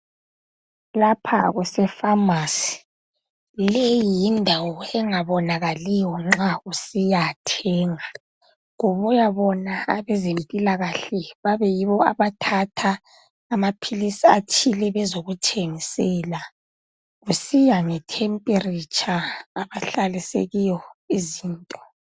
lapha kusefamasi leyi yindawo engabonakaliyo nxa kuthengwa kubuya bona abezempilakahle babe yibo abathatha amaphilizi athile bezo kuthengisela kusiya ngethempiletsha abahlalise ngayo izinto.